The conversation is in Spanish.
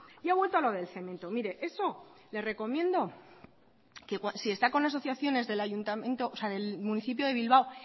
y ha vuelto a lo del cemento mire eso le recomiendo que si está con asociaciones del ayuntamiento o sea del municipio de bilbao